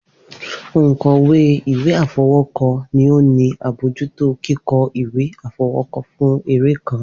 Onkọwe iwe afọwọkọ ni o ni abojuto kikọ iwe afọwọkọ fun ere kan.